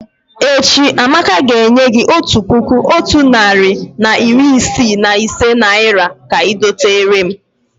Echi, Amaka ga enye gi Otu puku Otu nari na iri Isii na ise naira ka I doterem